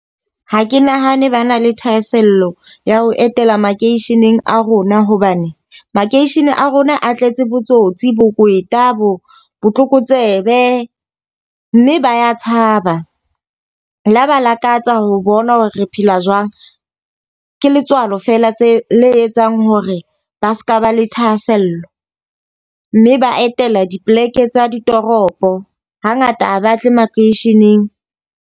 Ha ke nahane ba na le thahasello ya ho etela makeisheneng a rona. Hobane makeishene a rona a tletse botsotsi, bokweta, bo botlokotsebe, mme ba tshaba. La ba lakatsa ho bona hore re phela jwang. Ke letswalo fela tse le etsang hore ba seka ba le thahasello. Mme ba etela dipoleke tsa ditoropo ha ngata ha ba tle makweisheneng.